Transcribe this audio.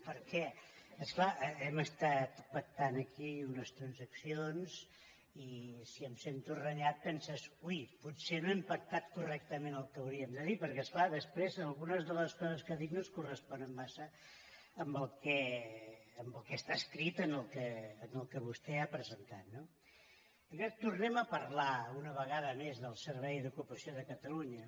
perquè és clar hem estat pactant aquí unes transaccions i si em sento renyat penses ui potser no hem pactat cor·rectament el que hauríem de dir perquè és clar des·prés algunes de les coses que ha dit no es corresponen massa el que està escrit amb el que vostè ha presen·tat no tornen a parlar una vegada més del servei d’ocupa·ció de catalunya